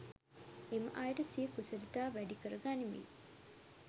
එම අයට සිය කුසලතා වැඩිකර ගනිමින්